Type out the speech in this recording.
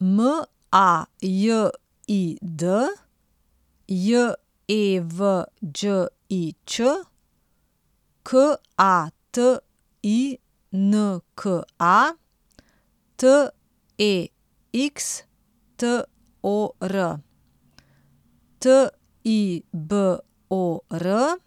M A J I D, J E V Đ I Ć; K A T I N K A, T E X T O R; T I B O R,